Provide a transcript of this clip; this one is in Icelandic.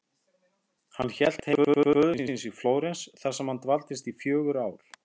Hann hélt heim til föður síns í Flórens þar sem hann dvaldist í fjögur ár.